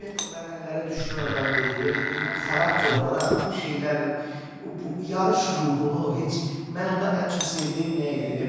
Bilirsinizmi, o mərhələləri düşünən adam deyil, yəni xarakter olaraq bu şeyləri, bu yarış ruhunu heç, mən onda ən çox sevdiyim nə idi?